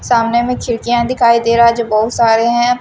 सामने भी खिड़कियां दिखाई दे रहा है जो बहुत सारे हैं।